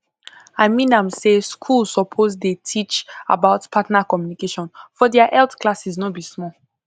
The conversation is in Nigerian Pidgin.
i mean am say schools suppose dey teach about partner communication for their health classes no be small